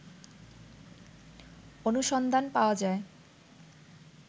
অনুসন্ধান পাওয়া যায়